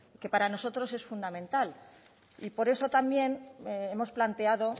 que para nosotros es fundamental y por eso también hemos planteado